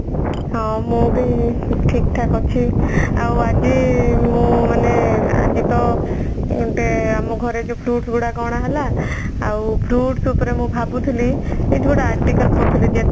ହଁ ମୁଁ ବି ଠିକ ଠାକ ଅଛି ଆଉ ଆଜି ମୁଁ ମାନେ ଆଜିତ ଗୋଟେ ଆମ ଘରେ ଯୋଉ fruits ଗୁଡାକ ଅଣାହେଲା ଆଉ fruits ଉପରେ ମୁଁ ଭାବୁଥିଲି ଏଇଠି ଗୋଟେ article ପଢୁଥିଲି